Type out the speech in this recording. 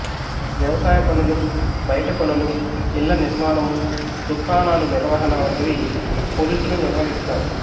వ్వవసాయ పనులు బయటి పనులు ఇళ్ళ నిర్మాణము దుకాణాలు నిర్వహణ వంటివి పురుషులు నిర్వహిస్తారు